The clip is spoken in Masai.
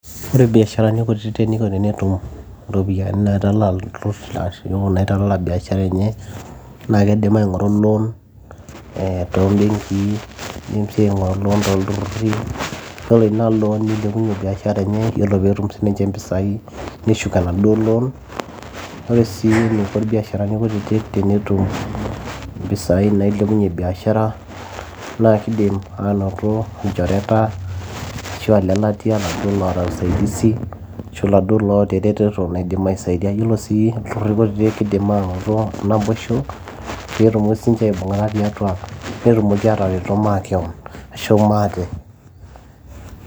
ore ibiasharani kutitik eniko tenetum iropiyiani naitalala ilturruri ashu naitala biashara enye naa kidim aing'oru loan eh tombenkii nidim sii aing'oru loan tolturruri yiolo ina loan nilepunyie biashara enye yiolo peetum sininche impisai neshuk enaduo loan ore sii eniko irbiasharani kutitik tenetum impisai nailepunyie biashara naa kidim anoto ilchoreta ashu lelatia laduo loota usaidizi ashu laduo loota eretoto naidim aisaidia yiolo sii ilturruri kutitik kidim anoto naboisho peetumoki sininche aibung'ata tiatua netumoki ataretoto makewon ashu maate